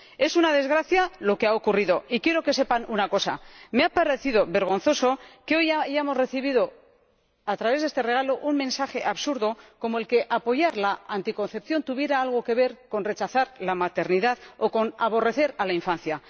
Es una desgracia lo que ha ocurrido, y quiero que sepan una cosa me ha parecido vergonzoso que hoy hayamos recibido —a través de este regalo— un mensaje absurdo como el de que apoyar la anticoncepción tuviera algo que ver con rechazar la maternidad o con aborrecer la infancia.